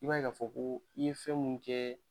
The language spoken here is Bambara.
I b'a ye k'a fɔ ko i ye fɛn minnu kɛ